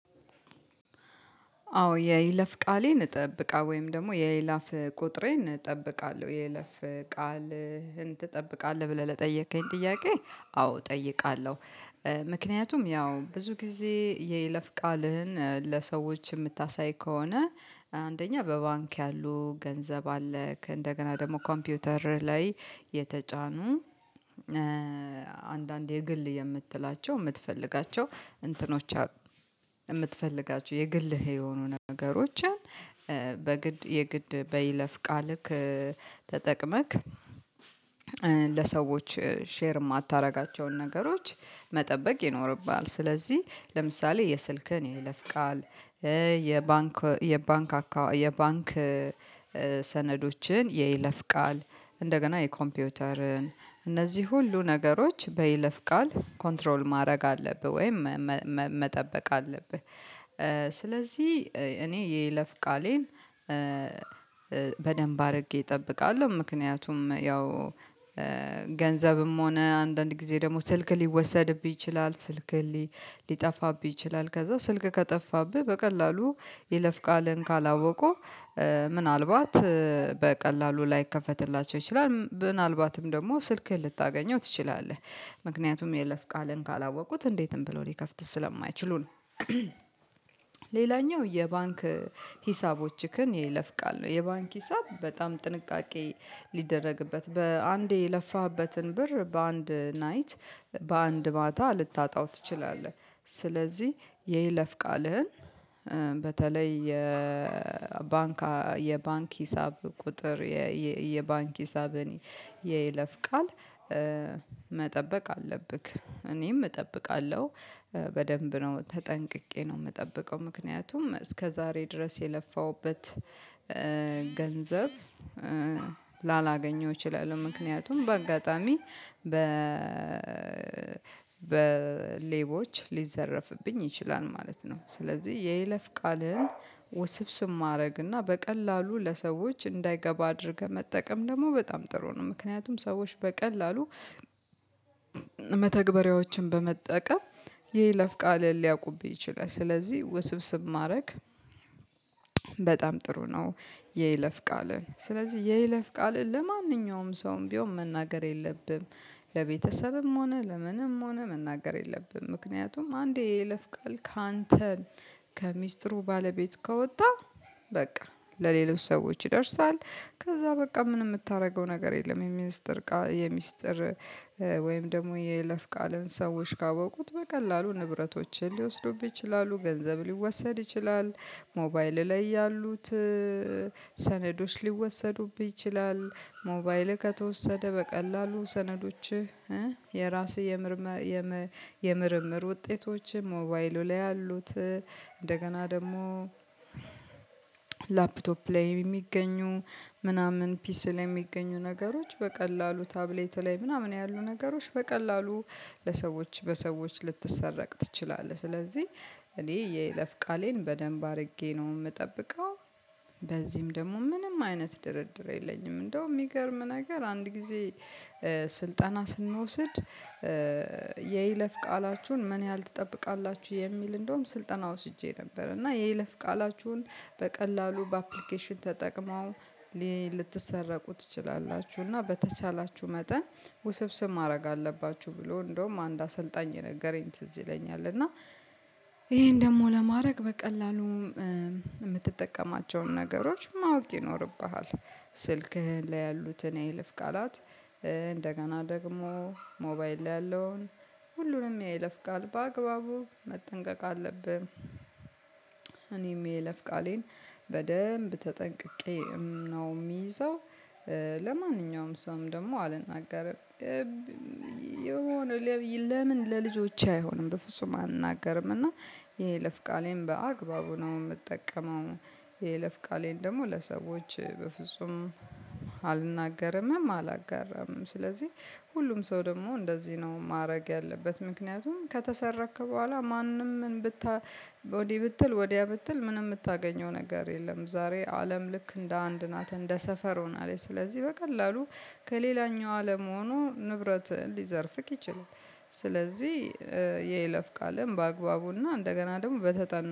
አዎ የይለፍ ቃሌን እጠብቃለሁ ወይም ደግሞ የይለፍ ቁጥሬን እጠብቃለሁ። የይለፍ ቃልህን ትጠብቃለህ ብለህ ለጠየከኝ ጥያቄ አዎ እጠይቃለሁ ምክንያቱም ያው ብዙ ጊዜ የይለፍ ቃልህን ለሰዎች የምታሳይ ከሆነ አንደኛ በባንክ ያሉ ገንዘብ አለክ እንደገና ደግሞ ኮምፒውተርህ ላይ የተጫኑ የግል የምትላቸው የምትፈልጋቸው እንትኖች የምትፈልጋቸው የግልህ የሆኑ ነገሮችን በግድ የግድ በይለፍ ቃልክ ተጠቅመክ ለሰዎች ሼር የማታደርጋቸውን ነገሮች መጠበቅ ይኖርብሃል። ስለዚህ ለምሳሌ የስልክህን የለፍ ቃል፤ የባንክ ሰነዶችህን የይለፍ ቃል፤ እንደገና የኮምፒውተርህን፤ እነዚህ ሁሉ ነገሮች በይለፍ ቃል ኮንትሮል ማድረግ አለብህ ወይም መጠበቅ አለብህ። ስለዚህ እኔ የይለፍ ቃሌን በደንብ አድርጌ እጠብቃለሁ። ምክንያቱም ያው ገንዘብም ሆነ አንዳንድ ጊዜ ደግሞ ስልክ ሊወሰድብህ ይችላል፤ ስልክህ ሊጠፋብህ ይችላል፤ ከዛ ስልክህ ከጠፋብህ በቀላሉ የይለፍ ቃልን ካላወቁ ምናልባት በቀላሉ ላይከፈትላቸው ይችላል። ምናልባትም ደግሞ ስልክህን ልታገኘው ትችላለህ። ምክንያቱም የይለፍ ቃልን ካላወቁት እንዴትም ብለው ሊከፍት ስለማይችሉ ነው። ሌላኛው የባንክ ሂሳቦችህን የለፍ ቃል ነው። የባንክ ሂሳብ በጣም ጥንቃቄ ሊደረግበት በአንዴ የለፋህበትን ብር በአንድ ናይት በአንድ ማታ ልታጣው ትችላለህ። ስለዚህ የይለፍ ቃልህን በተለይ የባንክ ሂሳብ ቁጥር፤ የባንክ ሂሳብን የይለፍ ቃል መጠበቅ አለብህ። እኔም እጠብቃለሁ። በደንብ ነው ተጠንቅቄ ነው የምጠብቀው። ምክንያቱም እስከዛሬ ድረስ የለፋሁበት ገንዘብ ላላገኘው እችላለሁ። ምክንያቱም በአጋጣሚ በ ሌቦች ሊዘረፍብኝ ይችላል ማለት ነው። ስለዚህ የይለፍ ቃልን ውስብስብ ማድረግና በቀላሉ ለሰዎች እንዳይገባ አድርገህ መጠቀም ደግሞ በጣም ጥሩ ነው። ምክንያቱም ሰዎች በቀላሉ መተግበሪያዎችን በመጠቀም የይለፍ ቃልህን ሊያውቁህ ይችላል። ስለዚህ ውስብስብ ማድረግ በጣም ጥሩ ነው። የይለፍ ቃልን፤ ስለዚህ የይለፍ ቃልን ለማንኛውም ሰውም ቢሆን መናገር የለብህም፤ ለቤተሰብም ሆነ ለምንም ሆነ መናገር የለብህም ምክንያቱም አንዴ የለፍ ቃል ካንተ ከሚስጥሩ ባለቤት ከወጣ በቃ፤ ለሌሎች ሰዎች ይደርሳል ከዛ በቃ ምንም የምታደርገው ነገር የለም። የሚስጥር ወይም ደግሞ የይለፍ ቃልህን ሰዎች ካወቁት በቀላሉ ንብረቶችህን ሊወስዱብህ ይችላ፤ ገንዘብ ሊወሰድ ይችላል፤ ሞባይል ላይ ያሉት ሰነዶች ሊወሰዱብህኝፀ ይችላል፤ ሞባይልህ ከተወሰደ በቀላሉ ሰነዶችህ የራስህ የምርምር ውጤቶችህ ሞባይሉ ላይ ያሉት እንደገና ደግሞ ላፕቶፕ ላይ የሚገኙ ምናምን ፒሲ ላይ የሚገኙ ነገሮች በቀላሉ ታብሌትህ ላይ ምናምን ያሉ ነገሮች በቀላሉ ለሰዎች በሰዎች ልትሰረቅ ትችላለህ። ስለዚህ እኔ የይለፍ ቃሌን በደንብ አድርጌ ነው የምጠብቀው። በዚህም ደግሞ ምንም አይነት ድርድር የለኝም። እንደውም የሚገርም ነገር አንድ ጊዜ ስልጠና ስንወስድ የይለፍ ቃላችሁን ምን ያህል ትጠብቃላችሁ? የሚል እንደውም ስልጠና ወስጄ ነበር እና የይለፍ ቃላችሁን በቀላሉ በአፕሊኬሽን ተጠቅመው ልትሰረቁ ትችላላችሁ። እና በተቻላችሁ መጠን ውስብስብ ማድረግ አለባችሁ ብሎ እንደውም አንድ አሰልጣኝ የነገረኝ ትዝ ይለኛል እና ይሄን ደግሞ ለማድረግ በቀላሉም የምትጠቀማቸውን ነገሮች ማወቅ ይኖርብሃል። ስልክህ ላይ ያሉትን የይለፍ ቃላት፤ እንደገና ደግሞ ሞባይል ላይ ያለውን ሁሉንም የይልፍ ቃል፤ በአግባቡ መጠንቀቅ አለብህ እኔም የለፍ ቃሌን በደንብ ተጠንቅቄ ነው የሚይዘው። ለማንኛውም ሰውም ደግሞ አልናገርም። የሆነ ለምን ለልጆቼ አይሆንም በፍጹም አልገርም እና የይለፍ ቃሌን በአግባቡ ነው የምጠቀመው። የይለፍቃሌን ደግሞ ለሰዎች በፍጹም አልናገርምም አላጋራምም። ስለዚህ ሁሉም ሰው ደግሞ እንደዚህ ነው ማድረግ ያለበት። ምክንያቱም ከተሰረክ በኋላ ወዲህ ብትል ወዲያ ብትል ምንም የምታገኘው ነገር የለም ዛሬ አለም ልክ እንደ አንድ ናት እንደ ሰፈር ሆናለች ስለዚህ በቀላሉ ከሌላኛው አለም ሆኖ ንብረት ሊዘርፍክ ይችላል፤ ስለዚህ የይለፍ ቃልህን በአግባቡና እንደገና ደግሞ በተጠና